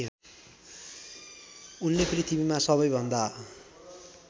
उनले पृथ्वीमा सबैभन्दा